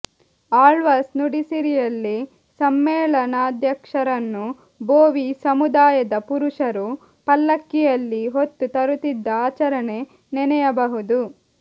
ಆಳ್ವಾಸ್ ನುಡಿಸಿರಿಯಲ್ಲಿ ಸಮ್ಮೇಳನಾಧ್ಯಕ್ಷರನ್ನು ಬೋವಿ ಸಮುದಾಯದ ಪುರುಷರು ಪಲ್ಲಕ್ಕಿಯಲ್ಲಿ ಹೊತ್ತು ತರುತ್ತಿದ್ದ ಆಚರಣೆ ನೆನೆಯಬಹುದು